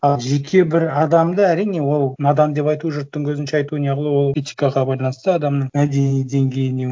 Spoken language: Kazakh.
ы жеке бір адамды әрине ол надан деп айту жұрттың көзінше айту не қылу ол этикаға байланысты адамның мәдени деңгейіне